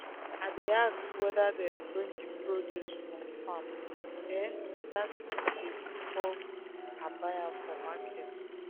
i dey ask whether dem bring the produce from farm um that same day before um i buy am for market.